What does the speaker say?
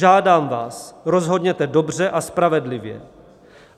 Žádám vás, rozhodněte dobře a spravedlivě.